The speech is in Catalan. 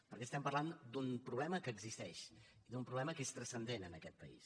perquè parlem d’un problema que existeix d’un problema que és transcendent en aquest país